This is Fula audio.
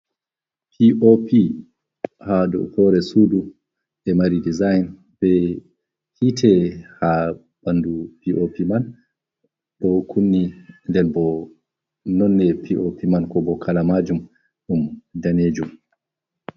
Piopi ha ɗow hore suɗu, ɗe mari ɗisain, be hite ha ɓanɗu piopi man. Ɗo kunni, ɗen ɓo nonne piopi man, ko ɓo kalamajum ɗum ɗanejum.